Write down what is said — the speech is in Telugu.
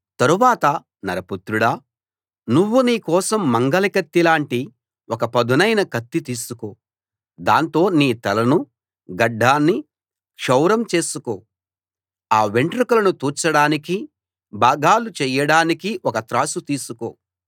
తరువాత నరపుత్రుడా నువ్వు నీ కోసం మంగలి కత్తి లాంటి ఒక పదునైన కత్తి తీసుకో దాంతో నీ తలను గడ్డాన్నీ క్షౌరం చేసుకో ఆ వెంట్రుకలను తూచడానికీ భాగాలు చేయడానికీ ఒక త్రాసు తీసుకో